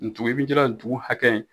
Ndugun ndugun hakɛ